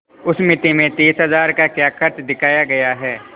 उस मिती में तीस हजार का क्या खर्च दिखाया गया है